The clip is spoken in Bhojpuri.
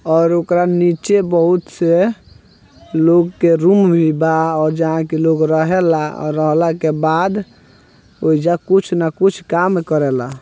और ओकरा नीचे बहुत से लोग के रूम भी बा और जहाँ के लोग रहेला अ रहेला के बाद ओइजा कुछ न कुछ काम करेला।